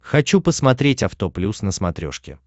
хочу посмотреть авто плюс на смотрешке